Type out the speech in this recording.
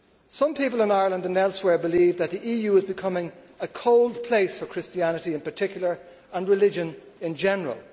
Some people in Ireland and elsewhere believe that the EU is becoming a cold place for Christianity in particular, and religion in general.